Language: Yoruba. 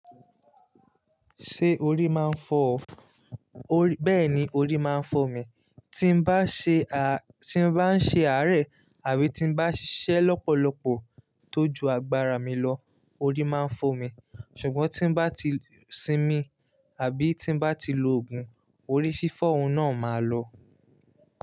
Ṣé orí máa ń fọ ọ? Bẹ́ẹ̀ni, orí máa ń fọ mi. Ti mbá se Tí mo bá ń ṣe àárẹ̀ àbí tí bá ṣiṣẹ́ lọ́pọ̀lọpọ̀ tó ju agbára mi lọ, orí máa ń fọ́ mi, ṣùgbọ́n tí mbá ti sinmi, àbí tí bá ti lo òògùn, orí fífọ́ ohun náà máa lọ.